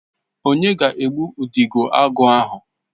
Onye ga-egbu Udidoagu ahụ?